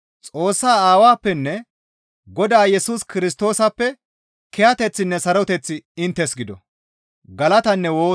Xoossaa Aawappenne Godaa Yesus Kirstoosappe kiyateththinne saroteththi inttes gido.